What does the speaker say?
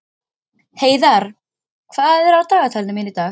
Heiðarr, hvað er á dagatalinu í dag?